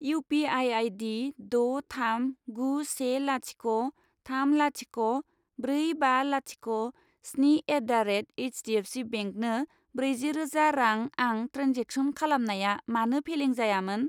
U P I आइदि द' थाम गु से लाथिख' थाम लाथिख' ब्रै बा लाथिख' स्नि एट दा रेट एइसडिएफसिबेंकनो ब्रेजि रोजा रां आं ट्रेन्जेक्सन खालामनाया मानो फेलें जायामोन?